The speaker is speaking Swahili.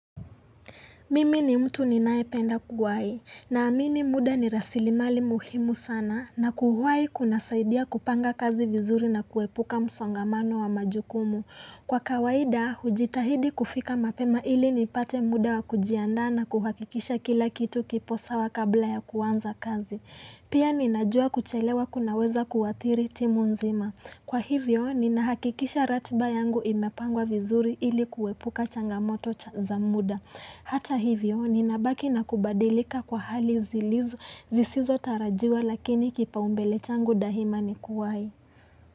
Mimi ni mtu ninayependa kuwahi, naamini muda ni rasilimali muhimu sana na kuwahi kunasaidia kupanga kazi vizuri na kuepuka msongamano wa majukumu. Kwa kawaida, hujitahidi kufika mapema ili nipate muda wa kujianda na kuhakikisha kila kitu kipo sawa kabla ya kuanza kazi. Pia ninajua kuchelewa kunaweza kuathiri timu nzima. Kwa hivyo, ninahakikisha ratiba yangu imepangwa vizuri ili kuepuka changamoto za muda. Hata hivyo ninabaki na kubadilika kwa hali zilizo zisizo tarajiwa lakini kipaumbele changu daima ni kuwahi.